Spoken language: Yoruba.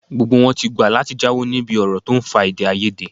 Gbogbo wọn ti gbà láti jáwọ́ níbi ọ̀rọ̀ tó ń fa èdèàìyedè